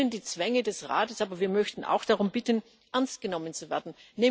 Wir kennen die Zwänge des Rates, aber wir möchten auch darum bitten, ernstgenommen zu werden.